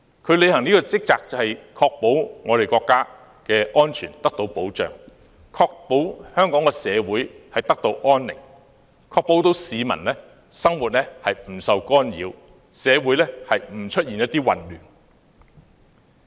這項職責就是確保國家安全得到保障、確保香港社會得到安寧、確保市民生活不受干擾、社會不會出現混亂。